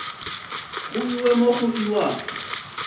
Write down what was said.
go iwe mo go iwago